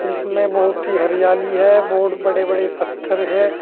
जिसमें बहुत ही हरियाली है बहुत बड़े बड़े पत्थर है।